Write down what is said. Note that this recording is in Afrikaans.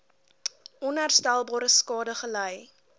onherstelbare skade gely